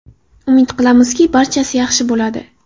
Umid qilamizki, barchasi yaxshi bo‘ladi.